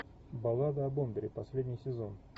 баллада о бомбере последний сезон